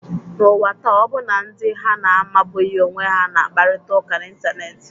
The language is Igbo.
N’ụwa taa, ọbụna ndị ha na-amabughị onwe ha na-akparịta ụka n’Ịntanet.